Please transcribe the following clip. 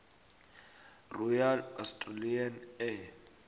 royal australian air